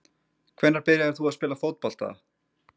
Hvenær byrjaðir þú að spila fótbolta?